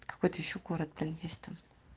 какой то ещё город блин есть там